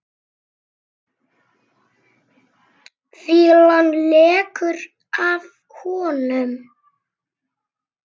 Fýlan lekur af honum.